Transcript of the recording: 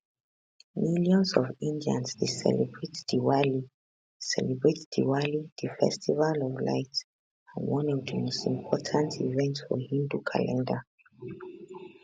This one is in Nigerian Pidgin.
millions of indians dey celebrate diwali celebrate diwali di festival of lights and one of di most important events for hindu calendar